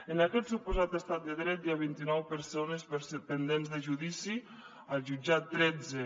en aquest suposat estat de dret hi ha vint i nou persones pendents de judici al jutjat tretze